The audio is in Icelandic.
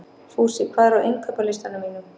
Fúsi, hvað er á innkaupalistanum mínum?